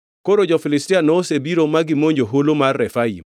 Koro jo-Filistia nosebiro ma gimonjo holo mar Refaim;